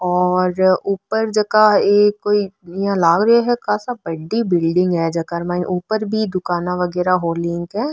और ऊपर जका ये कोई इया लाग रो है कासा बड़ी बिलडिंग है जेकर माइन ऊपर भी दुकान वगेरा होर लिंक है।